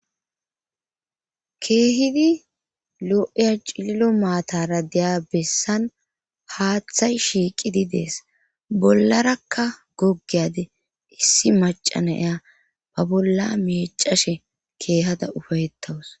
Keehidi lo7eya cililo maatara deyabessan haaththay shiiqidi dees bollarakka goggeyade issi macana ya ba bolla mecashe keehada ufayettawus.